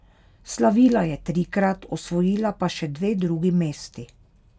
Slavila je trikrat, osvojila pa še dve drugi mesti.